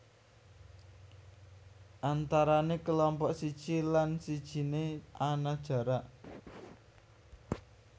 Antarané kelompok siji lan sijine ana jarak